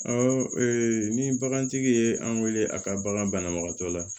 ni bagantigi ye an wele a ka bagan banabagatɔ la